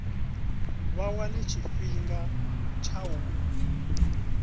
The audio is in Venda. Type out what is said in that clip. vha wane tshifhinga tsha u